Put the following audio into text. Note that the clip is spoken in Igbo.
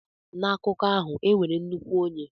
N'akụkọ ahụ, e nwere nnukwu onye.